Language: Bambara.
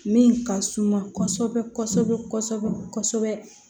Min ka suma kɔsɔbɛ kɔsɔbɛ kɔsɔbɛ kɔsɔbɛ